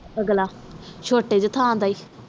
ਅਗਲਾ ਛੋਟੇ ਜੇ ਥਾਂ ਦਾ ਏ